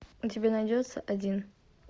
у тебя найдется один